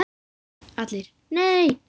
ALLIR: Nei!